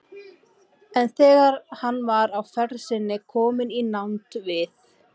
En þegar hann var á ferð sinni kominn í nánd við